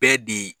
Bɛɛ di